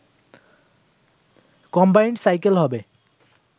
combined cycle হবে